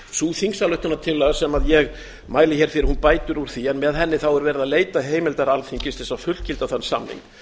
sú þingsályktunartillaga sem ég mæli fyrir bætir úr því en með henni er verið að leita heimildar alþingis til að fullgilda þann samning